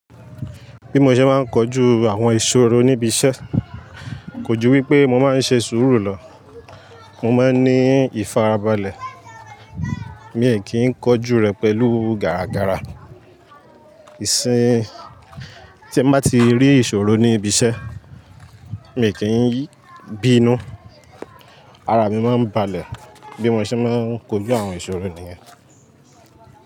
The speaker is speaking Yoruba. Bí mo ṣe máa ń kojú àwọn ìṣòro níbi iṣẹ́ kò ju wípé mo máa ń ṣe sùúrù lọ. Mo má ń ní ìfarabalẹ̀, mi ò kí ń kojú rẹ̀ pẹ̀lú gàrà gàrà. Ìsìn tí ẹ má ti rí ìṣòro ní ibi iṣẹ́, mi ò kí ń bínú, ara mi má ń balẹ̀. Bí mo ṣe máa ń kojú àwọn ìṣòro nìyẹn.